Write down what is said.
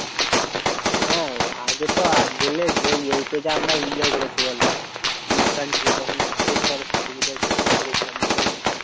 হ্যাঁ আগে তো eight এ যা enjoy করেছি বলতো? অনুষ্ঠান ছিল তখন সেই সরস্বতী পুজোয় কি করেছিলাম বলতো আমরা?